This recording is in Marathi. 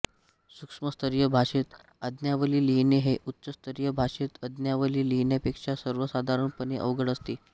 सूक्ष्मस्तरीय भाषेत आज्ञावली लिहिणे हे उच्चस्तरीय भाषेत आज्ञावली लिहिण्यापेक्षा सर्वसाधारणपणे अवघड असते